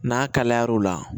N'a kalayara o la